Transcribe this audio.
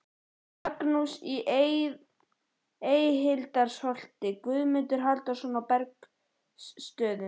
Magnússon í Eyhildarholti, Guðmundur Halldórsson á Bergsstöðum